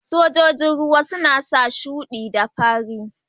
Sojojin ruwa suna sa shudi da fari.